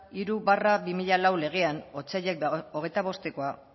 hiru barra bi mila lau legean otsaila hogeita bostkoa